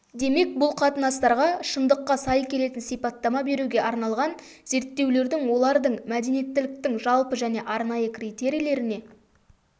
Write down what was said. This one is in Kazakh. демек бұл қатынастарға шындыққа сай келетін сипаттама беруге арналған зерттеулердің олардың мәдениеттіліктің жалпы және арнайы критерийлеріне